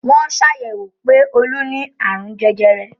Wọ́n sàyẹ̀wò pé Olú ni àrùn jẹjẹrẹ.